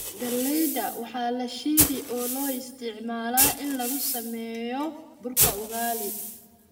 Galleyda waxaa la shiidi oo loo isticmaalaa in lagu sameeyo burka ugali.